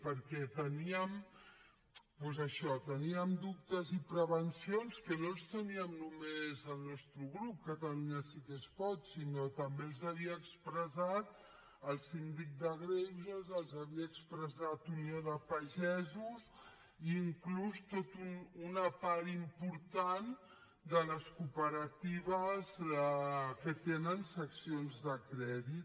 perquè teníem doncs això dubtes i prevencions que no els tenia només el nostre grup catalunya sí que es pot sinó que també els havia expressat el síndic de greuges els havia expressat unió de pagesos i inclús tota una part important de les cooperatives que tenen seccions de crèdit